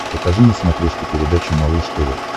покажи на смотрешке передачу малыш тв